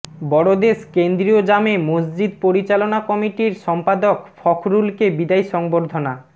বড়দেশ কেন্দ্রীয় জামে মসজিদ পরিচালনা কমিটির সম্পাদক ফখরুলকে বিদায়ী সংবর্ধনা